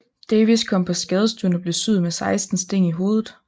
Davies kom på skadestuen og blev syet med seksten sting i hovedet